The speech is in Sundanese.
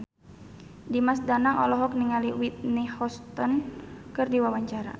Dimas Danang olohok ningali Whitney Houston keur diwawancara